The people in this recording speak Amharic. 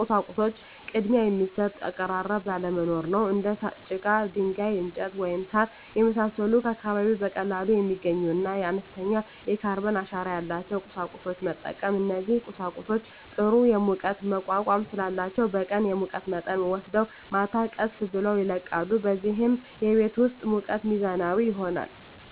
ቁሳቁሶች ቅድሚያ የሚሰጥ አቀራረብ አለመኖር ነው። እንደ ጭቃ፣ ድንጋይ፣ እንጨት፣ ወይም ሣር የመሳሰሉ ከአካባቢው በቀላሉ የሚገኙና አነስተኛ የካርበን አሻራ ያላቸውን ቁሳቁሶች መጠቀም። እነዚህ ቁሳቁሶች ጥሩ የሙቀት መቋቋም ስላላቸው በቀን የሙቀት መጠንን ወስደው ማታ ቀስ ብለው ይለቃሉ፣ በዚህም የቤት ውስጥ ሙቀት ሚዛናዊ ይሆናል።